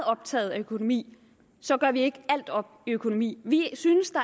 optaget af økonomi gør vi ikke alt op i økonomi vi synes at